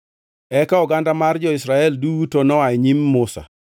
Eka oganda mar jo-Israel duto noa e nyim Musa,